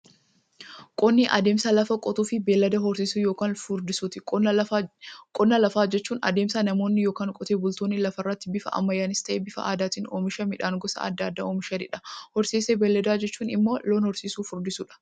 Qonni adeemsa lafa qotuufi beeylada horsiisuu yookiin furdisuuti. Qonna lafaa jechuun adeemsa namoonni yookiin Qotee bultoonni lafarraatti bifa ammayyanis ta'ee, bifa aadaatiin oomisha midhaan gosa adda addaa oomishaniidha. Horsiisa beeyladaa jechuun immoo loon horsiisuufi furdisuudha.